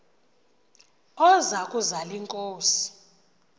oza kuzal inkosi